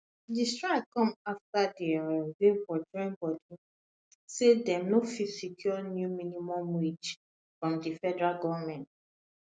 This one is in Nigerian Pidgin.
di strike come afta di um labour join bodi say dem no fit secure new minimum wage from di federal goment